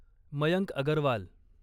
Mayank Agarwal